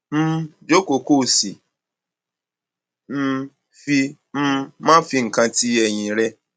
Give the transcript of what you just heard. um jókòó kó o sì um fi um máa fi nǹkan ti ẹyìn rẹ